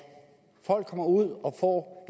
folk kommer ud og får